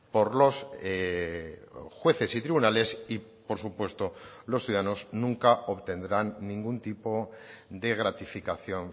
por los jueces y tribunales y por supuesto los ciudadanos nunca obtendrán ningún tipo de gratificación